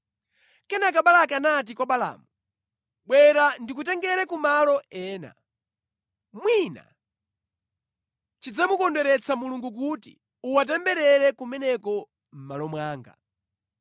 Kenaka Balaki anati kwa Balaamu, “Bwera ndikutengere ku malo ena. Mwina chidzamukondweretsa Mulungu kuti uwatemberere kumeneko mʼmalo mwanga.”